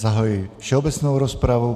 Zahajuji všeobecnou rozpravu.